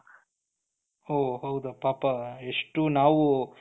ಓಹ್ ಹೌದಾ ಪಾಪ ಎಷ್ಟು ನಾವು,